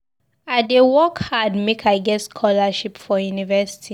I dey work hard make I get scholarship go university.